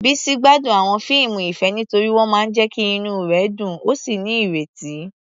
Bisi gbádùn àwọn fíìmù ìfẹ́ nítorí wọ́n máa ń jẹ́ kí inú rẹ̀ dùn ó sì ní ìrètí.